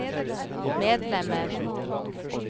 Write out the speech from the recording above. medlemmer